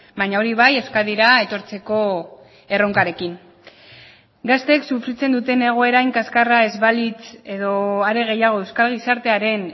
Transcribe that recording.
baina hori bai euskadira etortzeko erronkarekin gazteek sufritzen duten egoera hain kaskarra ez balitz edo are gehiago euskal gizartearen